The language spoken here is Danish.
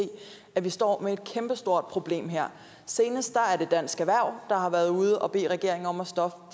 at vi står med et kæmpestort problem her senest har dansk erhverv været ude og bede regeringen om at stoppe